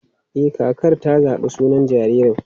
E, kakar ta zaɓi sunan jaririn.